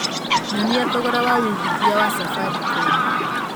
nyonĩa thogora wa wĩĩgĩthĩa wa safaricom